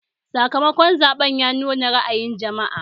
Sakamakon zaɓen ya nuna ra'ayin jama'a